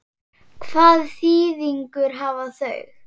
Hvaða þýðingu hafa þau?